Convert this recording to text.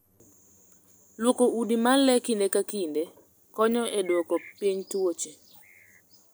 Lwoko udi mar le kinde ka kinde, konyo e duoko piny tuoche.